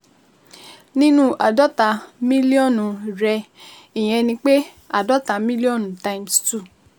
Nínú àádọ́ta mílíọ̀nù rẹ/ml, ìyẹn ni pé, àádọ́ta mílíọ̀nù times two